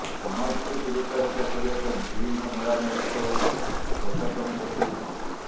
ସାମାଜିକ ଦୂରତା ରକ୍ଷା କରାଇବା ପାଇଁ ବିଭିନ୍ନ ମେଳା ମହୋତ୍ସବକୁ ପ୍ରଶାସନ ପକ୍ଷରୁ ବନ୍ଦ